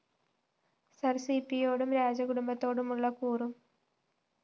സിർ സിപിയോടും രാജകുടുംബത്തോടുമുള്ള കൂറും പി